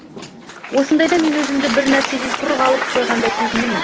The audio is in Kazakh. осындайда мен өзімді бір нәрседен құр қалып қойғандай сезінемін